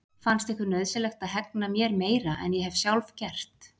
Fannst ykkur nauðsynlegt að hegna mér meira en ég hef sjálf gert?